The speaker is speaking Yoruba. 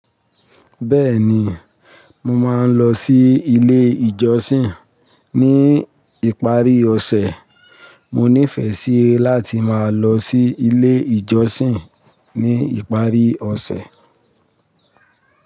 Bẹ́ẹ̀ni, mo máa ń lọ sí ilé ìjọsìn ní ìparí ọ̀sẹ̀. Mo nífẹ̀ẹ́ sí láti máa lọ sí ilé ìjọsìn ní ìparí ọ̀sẹ̀.